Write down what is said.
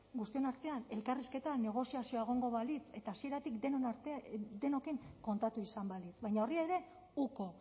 guztion artean elkarrizketa negoziazioa egongo balitz eta hasieratik denokin kontatu izan balitz baina horri ere uko